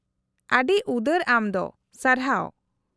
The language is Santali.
-ᱟᱹᱰᱤ ᱩᱫᱟᱹᱨ ᱟᱢ ᱫᱚ, ᱥᱟᱨᱦᱟᱣ ᱾